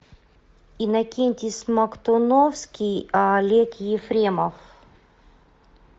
иннокентий смоктуновский олег ефремов